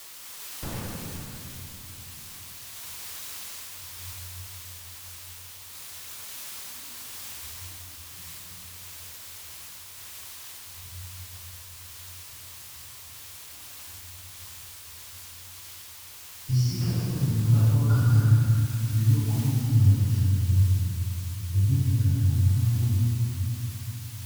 Esika oyo babwakaka biloko nyonso ya bosoto tobengaka ngo fulu.